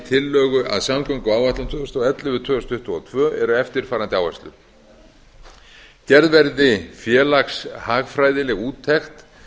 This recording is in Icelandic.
tillögu að samgönguáætlun tvö þúsund og ellefu til tvö þúsund tuttugu og tvö eru eftirfarandi gerð verði félagshagfræðileg úttekt